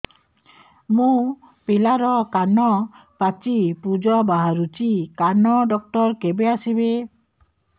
ମୋ ପିଲାର କାନ ପାଚି ପୂଜ ବାହାରୁଚି କାନ ଡକ୍ଟର କେବେ ଆସିବେ